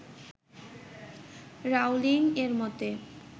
Rowling এর মতে